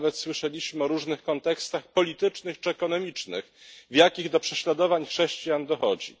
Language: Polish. Nawet słyszeliśmy o różnych kontekstach politycznych czy ekonomicznych, w jakich do prześladowań chrześcijan dochodzi.